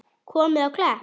Komið á Klepp?